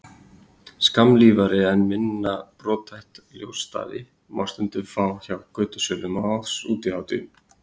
Skammlífari en minna brothætta ljósstafi má stundum fá hjá götusölum á útihátíðum.